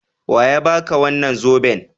Wa ya ba ka wannan zoben?